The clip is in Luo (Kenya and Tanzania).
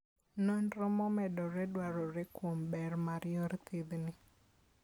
Nonro momedore dwarore kuom ber mar yor thiethni.